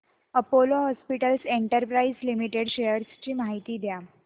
Apollo hospitals enterprise limited shares ची माहिती द्या